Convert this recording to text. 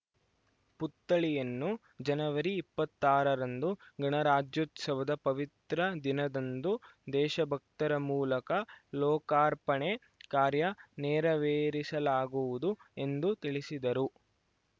ಪುತ್ಥಳಿಯನ್ನು ಜನವರಿ ಇಪ್ಪತ್ತಾರರಂದು ಗಣರಾಜ್ಯೋತ್ಸವದ ಪವಿತ್ರ ದಿನದಂದು ದೇಶಭಕ್ತರ ಮೂಲಕ ಲೋಕಾರ್ಪಣೆ ಕಾರ್ಯ ನೆರವೇರಿಸಲಾಗುವುದು ಎಂದು ತಿಳಿಸಿದರು